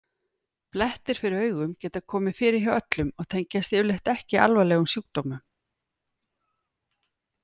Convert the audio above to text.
Blettir fyrir augum geta komið fyrir hjá öllum og tengjast yfirleitt ekki alvarlegum sjúkdómum.